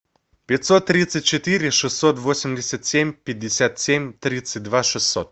пятьсот тридцать четыре шестьсот восемьдесят семь пятьдесят семь тридцать два шестьсот